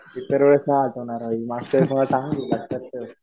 इतरवेळेस नाही आठवणार भाई . मागच्या वेळेस मला चांगली लक्षात ठेव.